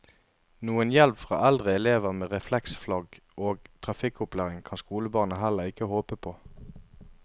Noen hjelp fra eldre elever med refleksflagg og trafikkopplæring kan skolebarna heller ikke håpe på.